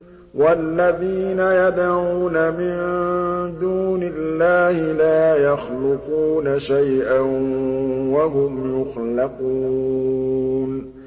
وَالَّذِينَ يَدْعُونَ مِن دُونِ اللَّهِ لَا يَخْلُقُونَ شَيْئًا وَهُمْ يُخْلَقُونَ